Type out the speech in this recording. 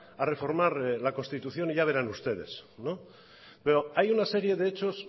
a reformar la constitución y ya verán ustedes pero hay una serie de hechos